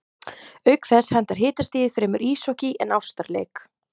Auk þess hentar hitastigið fremur íshokkí en ástarleik.